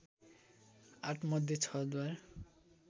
आठमध्ये छ द्वार